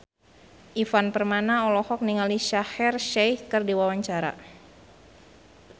Ivan Permana olohok ningali Shaheer Sheikh keur diwawancara